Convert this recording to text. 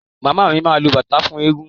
Màmá mi máa lu bàtá fún ẹẹ́gun.